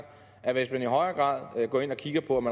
at hvis man i højere grad går ind og kigger på om